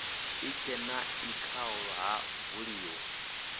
itshena e khao ha buliwa